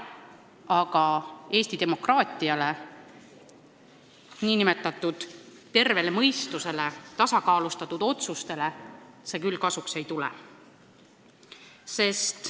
Aga Eesti demokraatiale, nn tervele mõistusele, tasakaalustatud otsustele see küll kasuks ei tule.